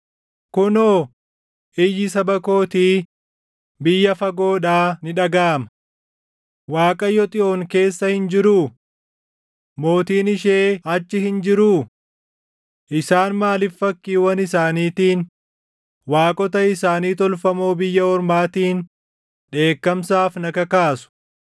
Kunoo, iyyi saba kootii biyya fagoodhaa ni dhagaʼama: “ Waaqayyo Xiyoon keessa hin jiruu? Mootiin ishee achi hin jiruu?” “Isaan maaliif fakkiiwwan isaaniitiin, waaqota isaanii tolfamoo biyya ormaatiin // dheekkamsaaf na kakaasu?”